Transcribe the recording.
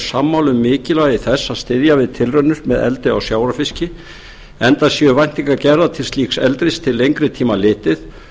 sammála um mikilvægi þess að styðja við tilraunir með eldi á sjávarfiski enda séu væntingar gerðar til slíks eldis til lengri tíma litið